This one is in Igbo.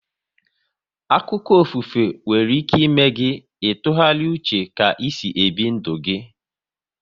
Akụkọ ofufe nwere ịme gị ị tụgharịa uche ka e si ebi ndụ gi